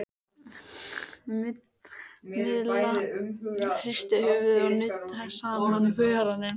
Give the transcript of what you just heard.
Milla hristi höfuðið og nuddaði saman vörunum.